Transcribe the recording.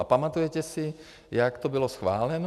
A pamatujete si, jak to bylo schváleno?